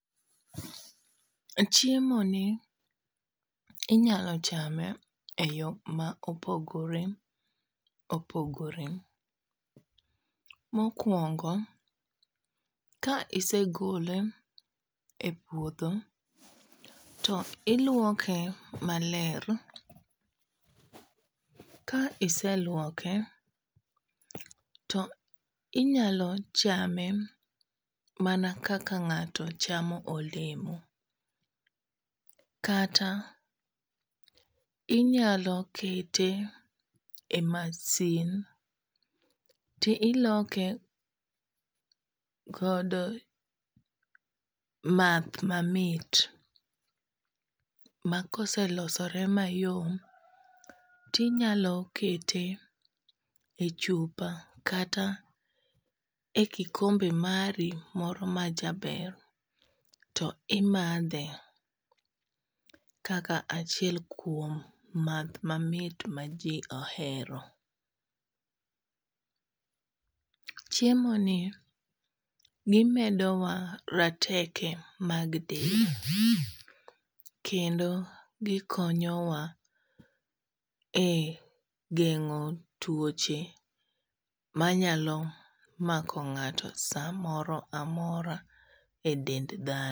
Chiemo ni inyalo chame e yo ma opogore opogore. Mokwongo, ka isegole e puodho to ilwoke maler, ka iselwoke to inyalo chame mana kaka ng'ato chamo olemo. Kata inyalo kete e masin ti iloke kod math mamit ma koselosore mayom, tinyalo kete e chupa kata e kikombe mari moro ma jaber. To imadhe kaka achiel kuom math mamit ma ji ohero. Chiemo ni gimedowa rateke mag del, kendo gikonyowa e geng'o tuoche ma nyalo mako ng'ato samoro amora e dend dhano.